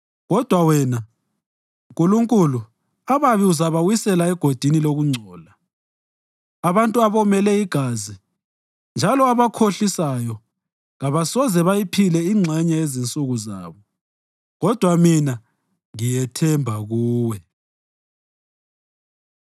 Kodwa wena, Nkulunkulu ababi uzabawisela egodini lokungcola; abantu abomele igazi njalo abakhohlisayo kabasoze bayiphile ingxenye yezinsuku zabo. Kodwa mina, ngithemba kuwe.